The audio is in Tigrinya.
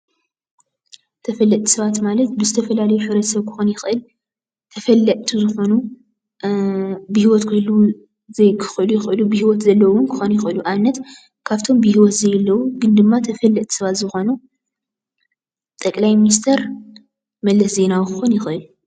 ተፈለጥቲ ሰባት ማለት ብዝተፈላለዩ ሕብረተሰብ ክኾን ይክእል ተፈለጥቲ ዝኾኑ ብሂወት ክህልውን ዘይክህልውን ይኽእሉ ብሂወት ዘለውን ክኾኑ ይኽእሉ። ኣብነት ካብቶም ብሂወት ዘየልዉ ግን ድማ ተፈለጥቲ ሰባት ዝኾኑ ጠቅላይ ሚኒስቴር መለስ ዜናዊ ክኾኑ ይኽእል።